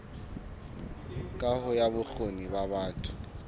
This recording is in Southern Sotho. kaho ya bokgoni ba batho